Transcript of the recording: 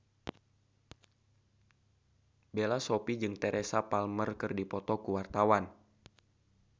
Bella Shofie jeung Teresa Palmer keur dipoto ku wartawan